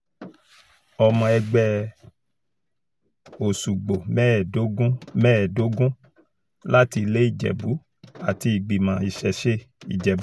ọmọ ẹgbẹ́ òsùgbò mẹ́ẹ̀ẹ́dógún mẹ́ẹ̀ẹ́dógún láti ilé ìjẹ̀bù àti ìgbìmọ̀ ìṣesẹ̀ ìjẹ̀bù kan